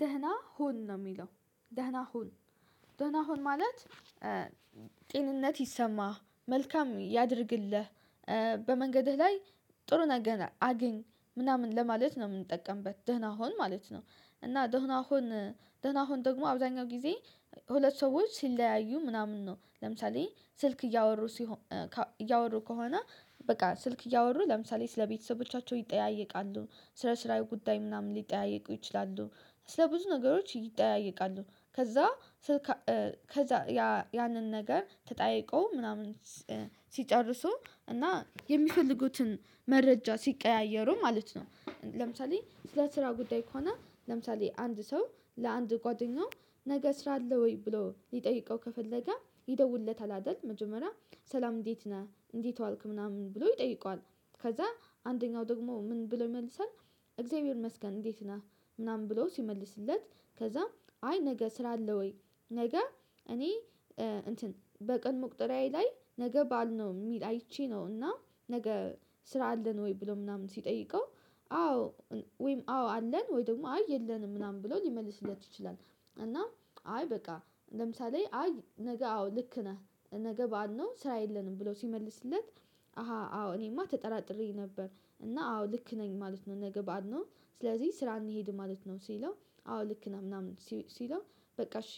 ደህና ሁን ነው የሚለው ደህና ሁን ደህና ሁን ማለት። ጤንነት ይሰማህ መልካም ያድርግልህ በመንገድህ ላይ ጥሩ ነገር አገኝ ምናምን ለማለት ነው የምንጠቀምበት ደህና ሁን ማለት ነው። እና ደህና ሁን ደህና ሁን ደግሞ አብዛኛው ጊዜ ሁለት ሰዎች ሲለያዩ ምናምን ነው ለምሳሌ ስልክ እያወሩ እያወሩ ከሆነ በቃ ስልክ እያወሩ ለምሳሌ ስለቤተሰቦቻቸው ይጠያየቃሉ ስለ ስራው ጉዳይ ምናምን ሊጠያየቁ ይችላሉ። ስለ ብዙ ነገሮች ይጠያየቃሉ ከዛ ስልክ ከዛ ያ ያንን ነገር ተጠያይቆ ምናምን ሲጨርሱ እና የሚፈልጉትን መረጃ ሲቀያየሩ ማለት ነው። ለምሳሌ ስለ ስራ ጉዳይ ከሆነ ለምሳሌ አንድ ሰው ለአንድ ጓደኛው ነገ ስራ አለ ወይ ብሎ ሊጠይቀው ከፈለገ ይደውልለታል አይደል። መጀመሪያ ሰላም እንዴት ነህ እንዴት ዋልክ ምናምን ይጠይቀዋል። ከዛ አንደኛው ደግሞ ምን ብለው ይመልሳል። እግዚአብሔር ይመስገን እንዴት ነህ። ምናምን ብለው ሲመልስለት ከዛ አይ ነገ ስራ አለ ወይ? ነገ እኔ እንትን በቀን መቁጠሪያዬ ላይ ነገ በዓል ነው የሚል አይቼ ነው። እና ነገ ስራ አለን ወይ ብሎ ምናምን ሲጠይቀው። አዎ ወይም አዎ አለን ወይ ደግሞ አይ የለንም ምናምን ብሎ ሊመልስለት ይችላል። እና አይ በቃ ለምሳሌ አይ ነገ አዎ ልክ ነህ ነገ በዓል ነው ስራ የለንም ብለው ሲመልስለት። አሃ አዎ እኔማ ተጠራጥሬኝ ነበር እና አዎ ልክ ነኝ ማለት ነው ነገ በዓል ነው። ስለዚህ ስራ እንሄድም ማለት ነው። ሲለው አዎ ልክ ምናምን ሲለው በቃ እሺ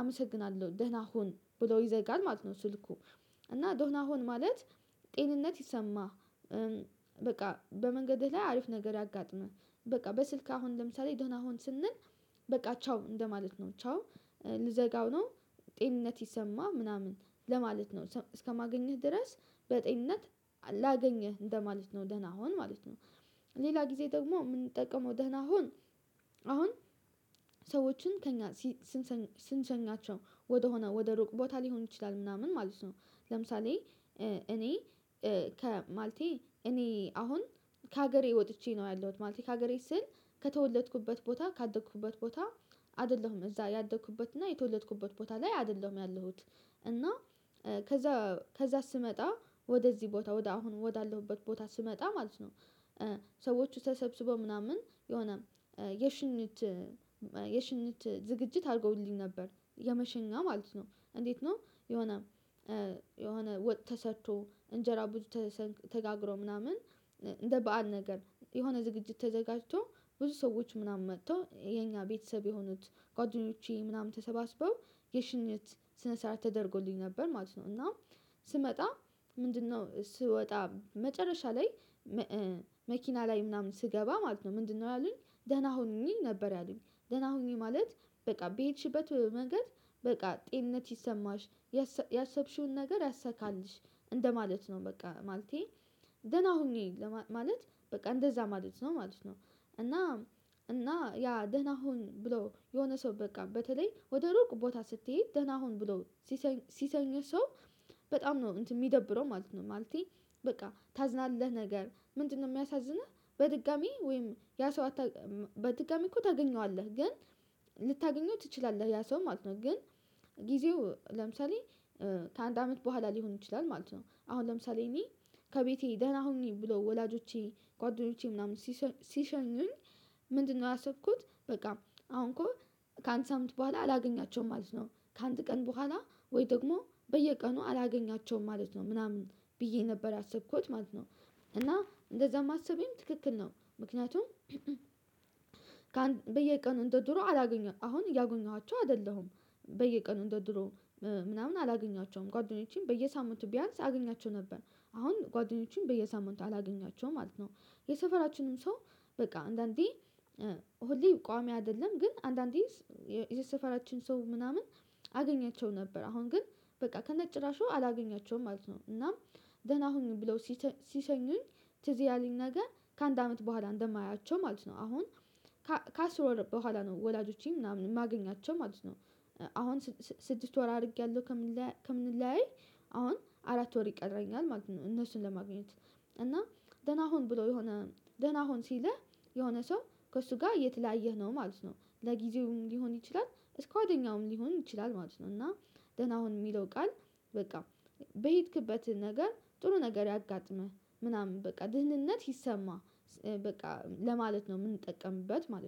አመሰግናለሁ ደህና ሁን ብሎ ይዘጋል ማለት ነው። ስልኩ እና ዶነ ሆን ማለት ጤንነት ይሰማህ። በቃ በመንገድህ ላይ አሪፍ ነገር ያጋጥመህ። በቃ በስልክ አሁን ለምሳሌ ደህን ሁን ስንል በቃ ቻው እንደማለት ነው። ቻው ልዘጋው ነው። ጤንነት ይሰማ ምናምን ለማለት ነው እስከማገኝህ ድረስ በጤንነት ላገኝህ እንደማለት ነው ደህና ሁን ማለት ነው። ሌላ ጊዜ ደግሞ የምንጠቀመው ደህና ሁን። አሁን ሰዎችን ከእኛ ስንሸኛቸው ወደሆነ ወደ ሩቅ ቦታ ሊሆን ይችላል ምናምን ማለት ነው። ለምሳሌ እኔ ከ ማለቴ እኔ አሁን ከሀገሬ ወጥቼ ነው ያለሁት ማለት ከሀገሬ ስል ከተወለድኩበት ቦታ ካደኩበት ቦታ አይደለሁም እዛ ያደኩበት እና የተወለድኩበት ቦታ ላይ አይደለም ያለሁት። እና ከዛ ከዛ ስመጣ ወደዚህ ቦታ ወደ አሁን ወዳለሁበት ቦታ ስመጣ ማለት ነው። ሰዎች ተሰብስበው ምናምን የሆነ የሽኝት የሽኝት ዝግጅት አድርጎውልኝ ነበር የመሸኛ ማለት ነው እንዴት ነው? የሆነ የሆነ ወጥ ተሰርቶ እንጀራ ብዙ ተጋግሮ ምናምን እንደ በዓል ነገር የሆነ ዝግጅት ተዘጋጅቶ ብዙ ሰዎች ምናምን መጥተው የኛ ቤተሰብ የሆኑት ጓደኞቼ ምናምን ተሰባስበው የሽኝት ስነ ስርዓት ተደርጎልኝ ነበር ማለት ነው። እና ስመጣ ምንድነው ስወጣ መጨረሻ ላይ መኪና ላይ ምናምን ስገባ ማለት ነው ምንድነው ያሉኝ? ደህና ሁኝ ነበር ያሉኝ ደህና ሁኝ ማለት በቃ በሄድሽበት መንገድ በቃ ጤንነት ይሰማሽ ያሰ ያሰብሽውን ነገር ያሰካልሽ እንደማለት ነው። በቃ ማለቴ ደህና ሆኝ ማለት በቃ እንደዛ ማለት ነው ማለት ነው። እና እና ያ ደህና ሁን ብሎ የሆነ ሰው በቃ በተለይ ወደ ሩቅ ቦታ ስትሄት ደህና ሁን ብሎ ስሽ ሲሸኝ ሰው በጣም ነው እንትን የሚደብረው ማለት ነው። ማለቴ በቃ ታዝናለህ ነገር ምንድነው የሚያሳዝንህ? በድጋሚ ወይም ያ ሰው በድጋሚ እኮ ታገኘዋለህ ግን ልታገኘው ትችላለህ ያ ሰው ማለት ነው። ግን ጊዜው ለምሳሌ ከአንድ አመት በኋላ ሊሆን ይችላል ማለት ነው። አሁን ለምሳሌ እኔ ከቤቴ ደህና ሁኝ ብሎ ወላጆቼ ጓደኞቼ ምናምን ሲሸኙኝ ምንድነው ያሰብኩት በቃ አሁን እኮ ከአንድ ሳምንት በኋላ አላገኛቸውም ማለት ነው። ከአንድ ቀን በኋላ ወይ ደግሞ በየቀኑ አላገኛቸውም ማለት ነው። ምናምን ብዬ ነበር ያሰብኩት ማለት ነው። እና እንደዛ ማሰቤም ትክክል ነው። ምክንያቱም በየቀኑ እንደ ድሮ አላገኘኋቸውም አሁን እያጎኘኋቸው አይደለሁም። በየቀኑ እንደድሮ ምናምን አላገኛቸውም ጓደኞቼም በየሳምንቱ ቢያንስ አግኛቸው ነበር አሁን ጓደኞቼን በየሳምንቱ አላገኛቸውም ማለት ነው። የሰፈራችንም ሰው በቃ አንዳንዴ ሁሌ ቋሚ አይደለም ግን አንዳንዴ የሰፈራችን ሰው ምናምን አገኛቸው ነበር አሁን ግን በቃ ከነጭራሹ አላገኛቸውም ማለት ነው። እና ደህና ሁኝ ብለው ሲሰ ሲሰኙኝ ትዝ ያለኝ ነገር ከአንድ አመት በኋላ እንደማያቸው ማለት ነው። አሁን ከአስር ወር በኋላ ነው ወላጆቼ ምናምን ማገኛቸው ማለት ነው። አሁን ስድስት ወር አድርጌያለሁ ከምን ከምንለያይ አሁን አራት ወር ይቀረኛል ማለት እነሱን ለማግኘት እና ደህና ሁን ብሎ የሆነ ደህና ሁን ሲልህ የሆነ ሰው ከእሱ ጋር እየተለያየህ ነው ማለት ነው። ለጊዜውም ሊሆን ይችላል እስከ ዋደኛውም ሊሆን ይችላል ማለት ነው። እና ደህና ሁን የሚለው ቃል በቃ በሄድክበትህ ነገር ጥሩ ነገር ያጋጥምህ ምናምን በቃ ድህንነት ይሰማ በቃ ለማለት ነው የምንጠቀምበት ማለት ነው